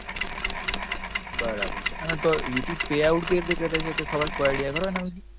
બરાબર છે અને તો youtube payout કેવી રીતે કરે છે, કોઈ ખબર, કોઈ idea ખરો એના વિષે?